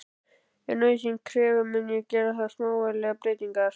Ef nauðsyn krefur mun ég gera þar smávægilegar breytingar.